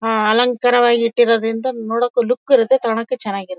ಆ ಅಲಂಕಾರವಾಗಿ ಇಟ್ಟಿರೋದ್ರಿಂದ ನೋಡೋಕೆ ಲುಕ್ ಇರುತ್ತೆ ತಗೋಣಕ್ಕೆ ಚೆನ್ನಾಗಿರುತ್ತೆ.